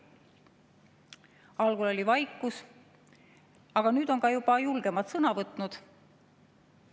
Algul oli vaikus, aga nüüd on julgemad juba sõna võtnud.